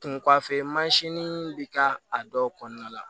Kun kɔfɛ bɛ k'a dɔw kɔnɔna la